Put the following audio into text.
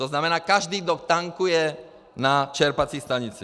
To znamená každý, kdo tankuje na čerpací stanici.